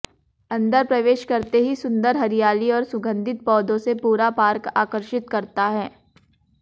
अंदर प्रवेश करते ही सुंदर हरियाली और सुगंधित पौधों से पूरा पार्क आकर्षित करता है